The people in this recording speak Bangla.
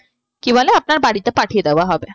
কি বলে আপনার বাড়িতে পাঠিয়ে দেওয়া হবে।